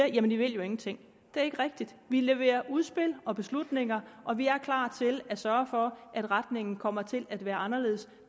i vil jo ingenting det er ikke rigtigt vi leverer udspil og beslutninger og vi er klar til at sørge for at retningen kommer til at være anderledes